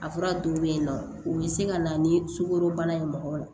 A fura dɔw bɛ yen nɔ u bɛ se ka na ni sukorobana ye mɔgɔ la